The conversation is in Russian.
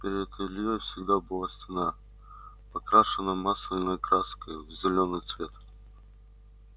перед ильёй всегда была стена покрашенная масляной краской в зелёный цвет